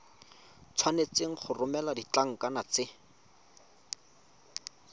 tshwanetse go romela ditlankana tse